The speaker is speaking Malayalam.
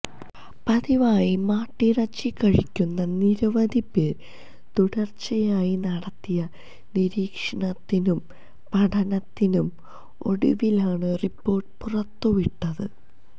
പതിവായി മാട്ടിറച്ചി കഴിക്കുന്ന നിരവധി പേരില് തുടര്ച്ചയായി നടത്തിയ നിരീക്ഷണത്തിനും പഠനത്തിനും ഒടുവിലാണു റിപ്പോര്ട്ട് പുറത്തുവിട്ടത്